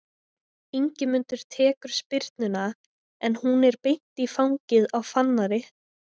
Ingimundur tekur spyrnuna en hún er beint í fangið á Fannari.